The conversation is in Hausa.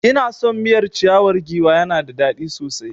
Ina son miyar ciyawar giwa ya na da dadi sosai